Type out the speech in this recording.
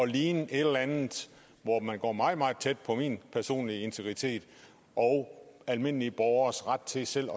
ligne et eller andet hvor man går meget meget tæt på min personlige integritet og almindelige borgeres ret til selv